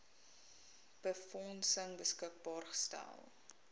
befondsing beskikbaar gestel